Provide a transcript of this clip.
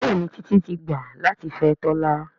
Béèni Titi tí gbà latí fè Tola.